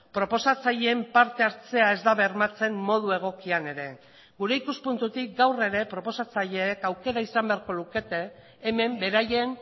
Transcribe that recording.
proposatzaileen parte hartzea ez da bermatzen modu egokian ere gure ikuspuntutik gaur ere proposatzaileek aukera izan beharko lukete hemen beraien